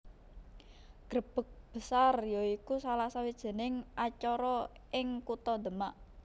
Grebeg Besar ya iku salah sawijining acara ing kutha Demak